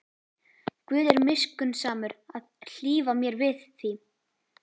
Guð er miskunnsamur að hlífa mér við því.